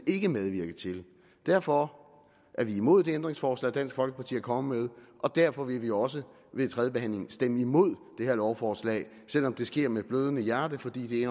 ikke medvirke til derfor er vi imod det ændringsforslag dansk folkeparti er kommet med og derfor vil vi også ved tredjebehandlingen stemme imod det her lovforslag selv om det sker med blødende hjerte fordi